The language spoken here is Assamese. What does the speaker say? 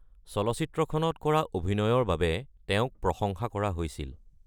চলচ্চিত্ৰখনত কৰা অভিনয়ৰ বাবে তেওঁক প্ৰশংসা কৰা হৈছিল।